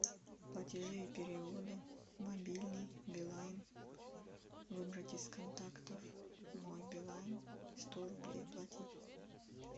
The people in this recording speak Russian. платежи и переводы мобильный билайн выбрать из контактов мой билайн сто рублей оплатить